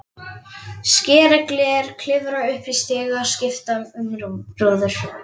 Skera gler, klifra upp í stiga, skipta um rúður.